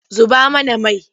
Zuba mana mai!